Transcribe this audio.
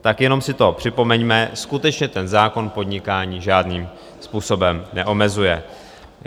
Tak jenom si to připomeňme, skutečně ten zákon podnikání žádným způsobem neomezuje.